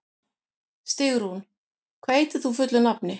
Stígrún, hvað heitir þú fullu nafni?